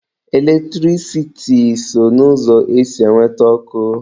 Eletrisiti so n'ụzọ esi enweta ọkụ.